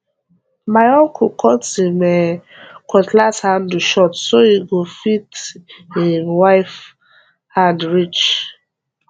my uncle cut him um cutlass handle short so e go fit him wife hand reach